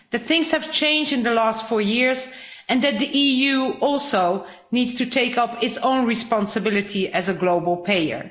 We know that things have changed in the last four years, and that the EU also needs to take up its own responsibility as a global player.